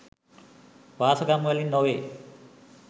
වාසගම් වලින් නොවේ.